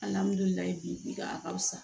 Alihamudulila bi a ka fisa